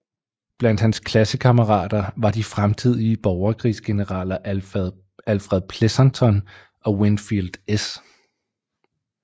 Blandt hans klassekammerater var de fremtidige borgerkrigsgeneraler Alfred Pleasonton og Winfield S